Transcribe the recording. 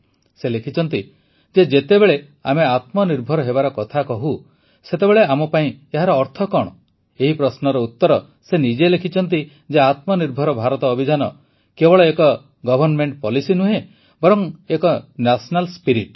ସେ ଲେଖିଛନ୍ତି ଯେ ଯେତେବେଳେ ଆମେ ଆତ୍ମନିର୍ଭର ହେବାର କଥା କହୁ ସେତେବେଳେ ଆମ ପାଇଁ ଏହାର ଅର୍ଥ କଣ ଏହି ପ୍ରଶ୍ନର ଉତର ସେ ନିଜେ ହିଁ ଲେଖିଛନ୍ତି ଯେ ଆତ୍ମନିର୍ଭର ଭାରତ ଅଭିଯାନ କେବଳ ଏକ ଗଭର୍ଣ୍ଣମେଣ୍ଟ ପୋଲିସି ନୁହେଁ ବରଂ ଏକ ନ୍ୟାସନାଲ ସ୍ପିରିଟ୍